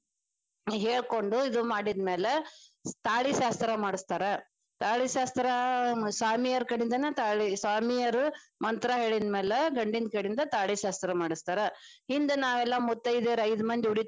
ಹೇಳಕೊಂಡು ಇದ ಮಾಡಿದ್ಮ್ಯಾಲ ತಾಳಿ ಶಾಸ್ತ್ರಾ ಮಾಡಿಸ್ತಾರ ತಾಳಿ ಶಾಸ್ತ್ರಾ ಸ್ವಾಮಿಯರ ಕಡಿಂದನ ಸ್ವಾಮಿಯರ ಮಂತ್ರ ಹೇಳಿದ್ಮ್ಯಾಲೆ ಗಂಡಿನ ಕಡೆಯಿಂದ ತಾಳಿ ಶಾಸ್ತ್ರಾ ಮಾಡಿಸ್ತಾರ ಹಿಂದ ನಾವೆಲ್ಲಾ ಮುತ್ತೈದ್ಯಾರ ಐದ ಮಂದಿ ಉಡಿ ತುಂಬ್ಕೊಂಡು.